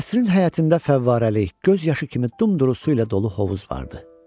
Qəsrin həyətində fəvvarəlik, göz yaşı kimi dumduru su ilə dolu hovuz vardı.